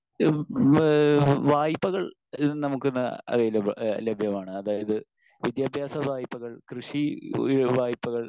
Speaker 1 ഉം ഏഹ് വായ്പകൾ ഇന്ന് നമുക്ക് അവൈലബിൾ ആഹ് ലഭ്യമാണ്. അതായത് വിദ്യാഭ്യാസ വായ്പകൾ കൃഷി വായ്പകൾ